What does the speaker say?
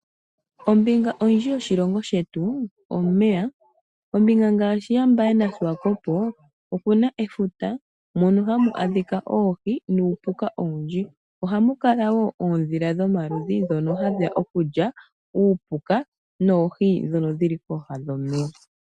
Ombinga oyindji yoshilongo shetu omeya. Ombinga ngaashi yaMbaye naShiwakopo oku na efuta mono hamu adhika oohi nuupuka owundji. Ohamu kala wo oondhila dhomaludhi ndhono hadhi ya okulya uupuka noohi ndhono dhi li pooha dhomeya.